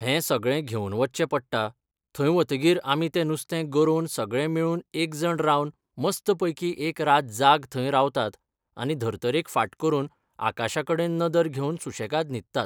हें सगळें घेवन वच्चें पडटा थंय वतगीर आमी ते नुस्तें गरोवन सगळें मेळून एकजण रावन मस्त पैकी एक रात जाग थंय रावतात आनी धर्तरेक फाट करून आकाशा कडेन नदर घेवन सुशेंगाद न्हिदतात